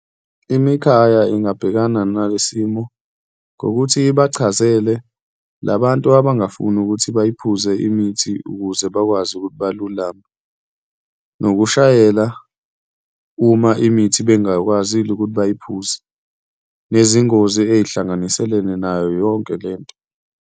Imikhaya ingabhekana nale simo ngokuthi ibachazele labantu abangafuni ukuthi bayiphuze imithi ukuze bakwazi ukuthi balulame, nokushayela uma imithi bengakwazile ukuthi bayiphuze, nezingozi ey'hlanganiselene nayo yonke lento.